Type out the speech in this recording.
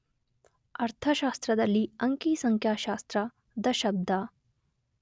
ಅರ್ಥಶಾಸ್ತ್ರದಲ್ಲಿ 'ಅಂಕಿ ಸಂಖ್ಯಾಶಾಸ್ತ್ರ ' ದ ಶಬ್ದ.